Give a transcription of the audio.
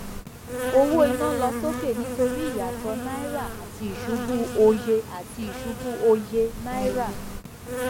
owó iná lọ sókè nítorí ìyàtọ náírà àti ìṣubú òye àti ìṣubú òye náírà